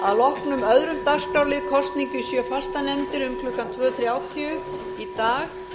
að loknum öðrum dagskrárlið kosning í sjö fastanefndir um klukkan tvö þrjátíu í dag